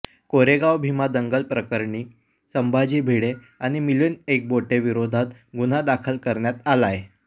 कोरेगाव भीमा दंगलीप्रकरणी संभाजी भिडे आणि मिलिंद एकबोटेंविरोधात गुन्हा दाखल करण्यात आलाय